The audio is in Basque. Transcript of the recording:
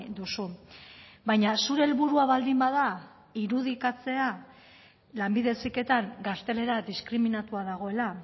duzu baina zure helburua baldin bada irudikatzea lanbide heziketan gaztelera diskriminatua dagoela